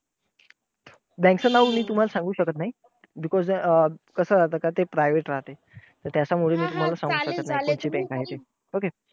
Bank चं नाव मी तुम्हाला सांगू शकत नाही. because अं कसं राहत कि ते private राहते. तर त्याच्या मुळे ते मी तुम्हाला सांगू शकत नाही कोणची bank आहे ते. okay.